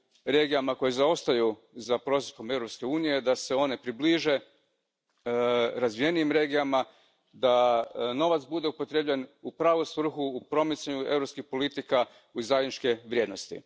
regijama koje zaostaju za prosjekom Europske unije, da se one približe razvijenijim regijama, da novac bude upotrijebljen u pravu svrhu, u promicanje europskih politika i zajedničke vrijednosti.